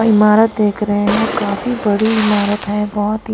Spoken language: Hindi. इमारत देख रहे हैं काफी बड़ी इमारत है बहोत ही--